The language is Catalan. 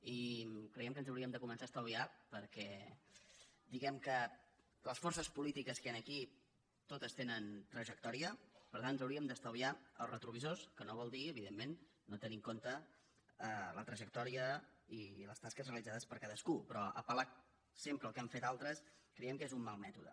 i creiem que ens ho hauríem de començar a estalviar perquè diguem que les forces polítiques que hi han aquí to·tes tenen trajectòria per tant ens hauríem d’estalviar els retrovisors que no vol dir evidentment no tenir en compte la trajectòria i les tasques realitzades per ca·dascú però apelque és un mal mètode